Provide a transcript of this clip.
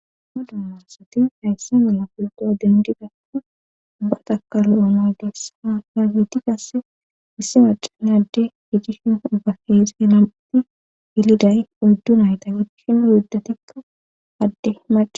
Madu marasati haysse mala pulqoa dendi gasa ubba takalo'o naa gessha nagiti gasse issi macane adde gidishin ubbaheez he namiti yiliday uddun hayta geikinu hiddatikka adde maca.